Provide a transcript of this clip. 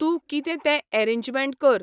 तूं कितें तें एरेजमॅण्ट कर.